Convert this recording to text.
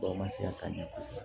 ma se ka ɲɛ kosɛbɛ